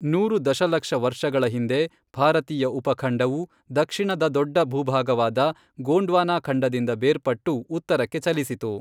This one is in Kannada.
ನೂರು ದಶಲಕ್ಷ ವರ್ಷಗಳ ಹಿಂದೆ, ಭಾರತೀಯ ಉಪಖಂಡವು ದಕ್ಷಿಣದ ದೊಡ್ಡ ಭೂಭಾಗವಾದ ಗೋಂಡ್ವಾನಾಖಂಡದಿಂದ ಬೇರ್ಪಟ್ಟು ಉತ್ತರಕ್ಕೆ ಚಲಿಸಿತು.